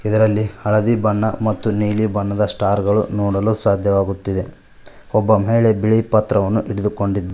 ಇದರಲ್ಲಿ ಹಳದಿ ಬಣ್ಣ ಮತ್ತು ನೀಲಿ ಬಣ್ಣದ ಸ್ಟಾರ್ ಗಳು ನೋಡಲು ಸಾಧ್ಯವಾಗುತ್ತಿದೆ ಒಬ್ಬ ಮಹಿಳೆ ಬಿಳಿ ಪತ್ರವನ್ನು ಹಿಡಿದುಕೊಂಡಿ--